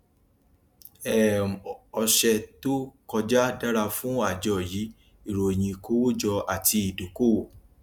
um ọṣẹ tó kọjá dára fún àjọ yìí ìròyìn ìkówójọ àti ìdókòwò